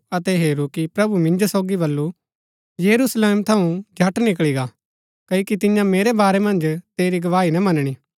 अतै हेरू कि प्रभु मिन्जो सोगी बल्लू यरूशलेम थऊँ झट निकळी गा क्ओकि तियां मेरै बारै मन्ज तेरी गवाही ना मनणी